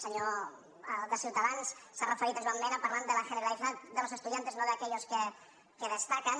senyor de ciutadans s’ha referit a joan mena parlant de la generalidad de los estudiantes no de aquellos que destacan